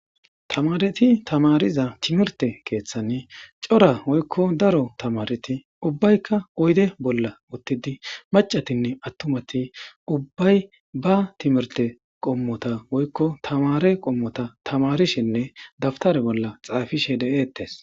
tamareti tamariza timirte keeththan cora woykko daro tamareti ubbaykka oyde bolla ottidi macatinne attumati ubbay ba timirte qommota woykko tamare qommota tamarishinne dabtare bolla xaafishe deeettes